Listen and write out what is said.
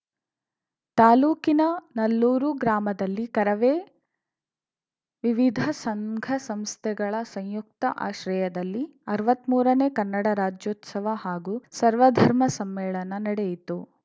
ತಾಲೂಕಿನ ನಲ್ಲೂರು ಗ್ರಾಮದಲ್ಲಿ ಕರವೇ ವಿವಿಧ ಸಂಘಸಂಸ್ಥೆಗಳ ಸಂಯುಕ್ತ ಆಶ್ರಯದಲ್ಲಿ ಅರ್ವಾತ್ಮೂರ ನೇ ಕನ್ನಡ ರಾಜ್ಯೋತ್ಸವ ಹಾಗೂ ಸರ್ವಧರ್ಮ ಸಮ್ಮೇಳನ ನಡೆಯಿತು